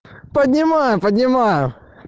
поднимаю поднимаю